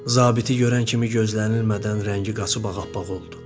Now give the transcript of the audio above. Zabiti görən kimi gözlənilmədən rəngi qaçıb ağappaq oldu.